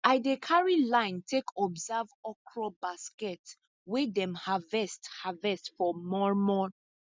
i dey carry line take observe okra basket wey dem harvest harvest for mor mor